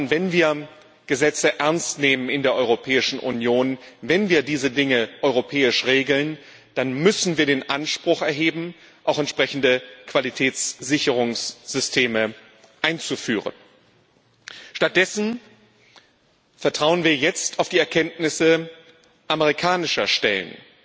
Wenn wir Gesetze ernst nehmen in der Europäischen Union, wenn wir diese Dinge europäisch regeln, dann müssen wir den Anspruch erheben, auch entsprechende Qualitätssicherungssysteme einzuführen. Stattdessen vertrauen wir jetzt auf die Erkenntnisse amerikanischer Stellen.